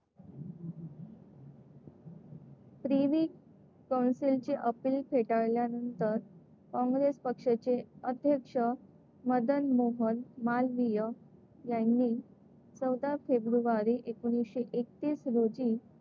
privy council चे appeal फेटाळल्यानंतर, काँग्रेस पक्षाचे अध्यक्ष मदन मोहन मालवीय यांनी चौदा फेब्रुवारी एकोणीसशे एकतीस रोजी,